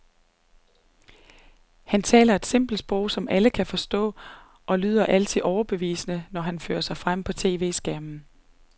Han taler et simpelt sprog, som alle kan forstå og lyder altid meget overbevisende, når han fører sig frem på tv-skærmen.